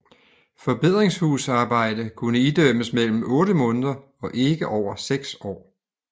Forbedringshusarbejde kunne idømmes mellem 8 måneder og ikke over 6 år